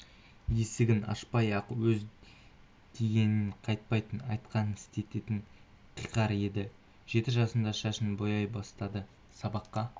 есігін ашпай-ақ өз дегенінен қайтпайтын айтқанын істететін қиқар еді жеті жасында шашын бояй бастады сабаққа